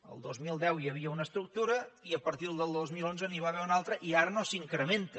el dos mil deu hi havia una estructura i a partir del dos mil onze n’hi va haver una altra i ara no s’incrementa